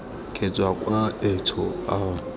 ke tswa kwa etsho ao